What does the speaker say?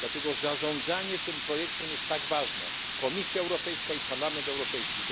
Dlatego zarządzanie tym projektem jest tak ważne. Komisja Europejska i Parlament Europejski.